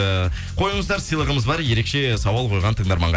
э қойыңыздар сыйлығымыз бар ерекше сауал қойған тыңдарманға